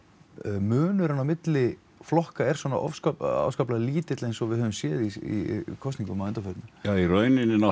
munurinn milli flokka er svona afskaplega lítil eins og við höfum séð í kosningum að undanförnu í rauninni